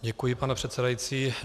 Děkuji, pane předsedající.